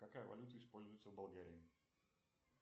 какая валюта используется в болгарии